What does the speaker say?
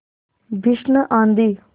भीषण आँधी